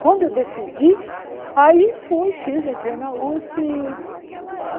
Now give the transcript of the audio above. Quando eu decidi, aí fui, fiz, entrei na Usp.